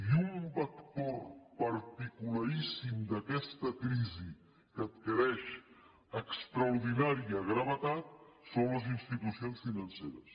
i un vector particularíssim d’aquesta crisi que adquireix extraordinària gravetat són les institucions financeres